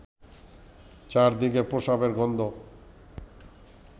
চারদিকে প্রস্রাবের গন্ধ